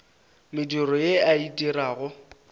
mediro ye a e dirago